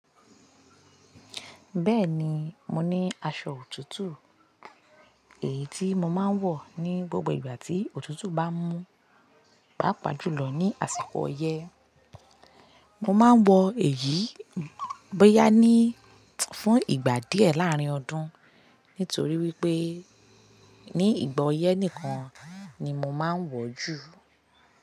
Bẹ́ẹ̀ni, mo ní aṣọ òtútù èyí tí mo máa ń wọ̀ ní gbogbo ìgbà tí òtútù bá mú pàápàá jù lọ ní àsìkò ọyẹ́. Mo máa ń wọ èyí bóyá ní fún ìgbà díẹ̀ láàárín ọdún, nítorí wípé ní ìgbà ọyẹ́ nìkan ni mo máa ń wọ̀ ju.